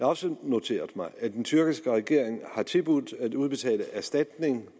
også noteret mig at den tyrkiske regering har tilbudt at udbetale erstatning